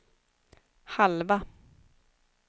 halva